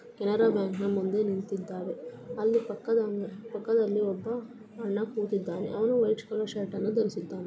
Canara Bank ನ ಮುಂದೆ ನಿಂತಿದ್ದಾನೆ. ಅಲ್ಲಿ ಪಕ್ಕದ - ಪಕ್ಕದಲ್ಲಿ ಒಬ್ಬ ಅಣ್ಣ ಕೂತಿದ್ದಾನೆ ಅವನು ವೈಟ್ ಕಲರ್ ಶರ್ಟ್ಅನ್ನು ಧರಿಸಿದ್ದಾನೆ.